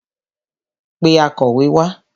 Pé akọ̀wé wá